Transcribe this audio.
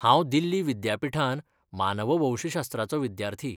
हांव दिल्ली विद्यापिठांत मानववंशशास्त्राचो विद्यार्थी.